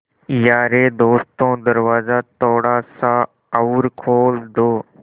यारे दोस्तों दरवाज़ा थोड़ा सा और खोल दो